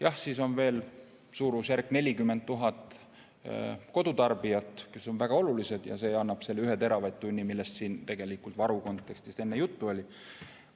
Ja siis on veel suurusjärgus 40 000 kodutarbijat, kes on väga olulised, ja nemad vajavad 1 teravatt-tundi, millest siin tegelikult varu kontekstis enne juttu oli.